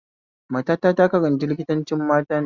Matata ta karanta likitancin matane